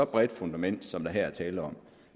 bredt et fundament som der her er tale om